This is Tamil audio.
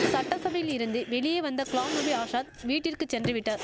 சட்டசபையிலிருந்து வெளியே வந்த குலாம் நபி ஆசாத் வீட்டிற்கு சென்றுவிட்டார்